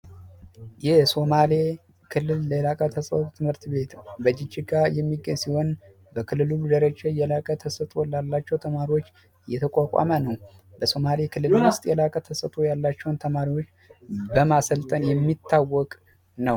ይህ የሶማሌ ክልል ከሆኑት ትምህርት ቤት ነው። በጅግጅጋ የሚገኝ ሲሆን በክልሉ ደረጃቸው የላቀ ተሳትፎ ላላቸው ተማሪዎች የተቋቋመ ነው፣ በሶማሌ ክልል ውስጥ የላቀ ተሰጥኦ ያላቸውን ተማሪዎች በማሰልጠን የሚታወቅ ነው።